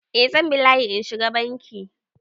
Eh zan bi layi in na shiga Banki.